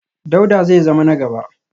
Dauda zai zama na gaba